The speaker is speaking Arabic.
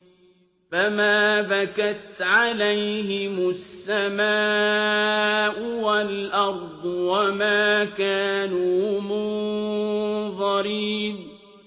فَمَا بَكَتْ عَلَيْهِمُ السَّمَاءُ وَالْأَرْضُ وَمَا كَانُوا مُنظَرِينَ